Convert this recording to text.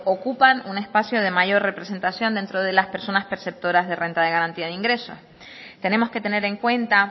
ocupan un espacio de mayor representación dentro de las personas perceptoras de renta de garantía de ingresos tenemos que tener en cuenta